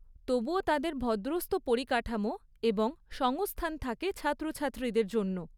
তবুও তাদের ভদ্রস্থ পরিকাঠামো এবং সংস্থান থাকে ছাত্রছাত্রীদের জন্য।